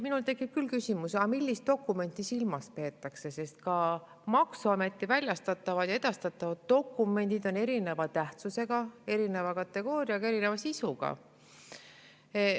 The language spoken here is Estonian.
Minul tekib küll küsimus, et millist dokumenti silmas peetakse, sest ka maksuameti väljastatavad ja edastatavad dokumendid on erineva tähtsusega, erineva kategooriaga, erineva sisuga.